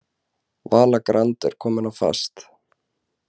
Vala Grand komin á fast